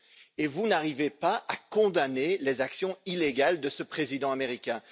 Et vous n'arrivez pas à condamner les actions illégales de ce président américain?